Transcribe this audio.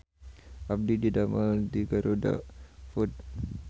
Abdi didamel di GarudaFood